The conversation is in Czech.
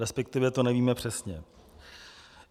Respektive to nevíme přesně.